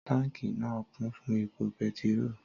Tànkí náà, kún fún ẹpo pẹtírò